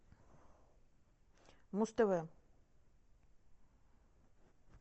муз тв